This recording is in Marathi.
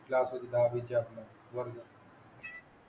दहावीच्या आत मध्ये वर्ग